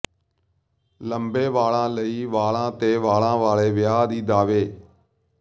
ਲੰਬੇ ਵਾਲਾਂ ਲਈ ਵਾਲਾਂ ਤੇ ਵਾਲਾਂ ਵਾਲੇ ਵਿਆਹ ਦੀ ਦਾਅਵੇ